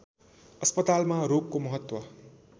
अस्पतालमा रोगको महत्व